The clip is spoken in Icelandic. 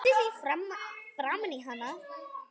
Slengdi því framan í hann.